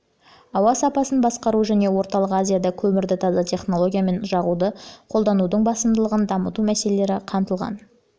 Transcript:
ауа сапасын басқару және орталық азияда көмірді таза технологиямен жағуды қолданудың басымдылығын дамыту мәселелері қамтылған